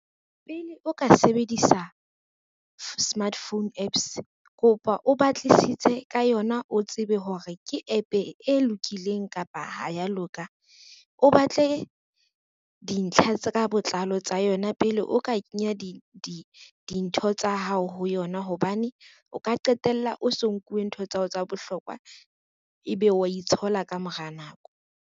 Pele o ka sebedisa, smart phone apps kopa o batlisise ka yona o tsebe hore ke app e lokileng kapa ha ya loka. O batle dintlha tse ka botlalo tsa yona pele o ka kenya dintho tsa hao ho yona, hobane o ka qetella o so nkuwe ntho tsa hao tsa bohlokwa ebe wa itshola ka mora nako.